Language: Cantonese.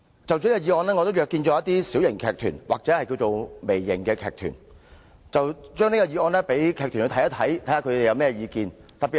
就着這項議案，我也約見了一些小型或微型劇團，詢問他們對議案有何意見。